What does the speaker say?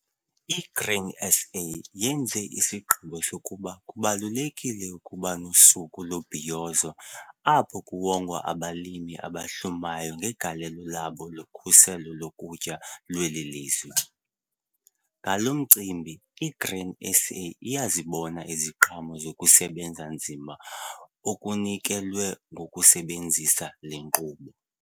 I-Grain SA yenze isigqibo sokuba kubalulekile ukuba nosuku lombhiyozo apho kuwongwa abalimi abahlumayo ngegalelo labo kukhuselo lokutya lweli lizwe. Ngalo mcimbi i-Grain SA iyazibona iziqhamo zokusebenza nzima okunikelwe ngokusebenzisa le nkqubo.